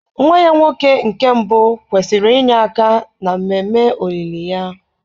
Ee, nwa ya nwoke nke mbụ kwesịrị inye aka n'ememe olili ya.